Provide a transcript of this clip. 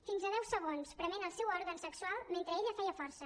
fins a deu segons prement el seu òrgan sexual mentre ella feia força